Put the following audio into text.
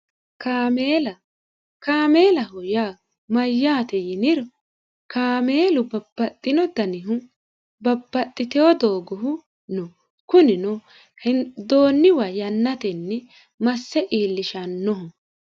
kaameelaho yaa mayyaate yiniro kaameelu babbaxxino danihu babbaxxiteho doogohu no kunino henidoonniwa yannatenni masse iillishannoho